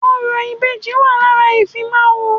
Orò ìbejì wà lára ìfimáwọ̀